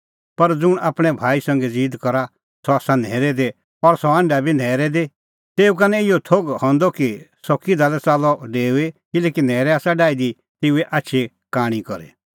पर ज़ुंण आपणैं भाई संघै ज़ीद करा सह आसा न्हैरै दी और सह हांढा बी न्हैरै दी तेऊ का निं इहअ थोघ हंदअ कि सह किधा लै च़ाल्लअ डेऊई किल्हैकि न्हैरै आसा डाही दी तेऊए आछी कांणी करी